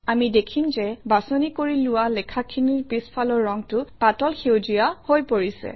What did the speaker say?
আমি দেখিম যে বাছনি কৰি লোৱা লেখাখিনিৰ পিছফালৰ ৰংটো পাতল সেউজীয়া হৈ পৰিছে